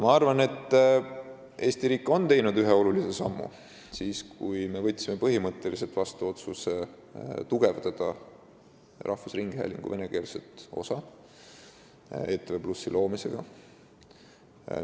Ma arvan, et Eesti riik tegi ühe olulise sammu siis, kui me võtsime vastu põhimõttelise otsuse tugevdada rahvusringhäälingu venekeelset osa ETV+ loomisega.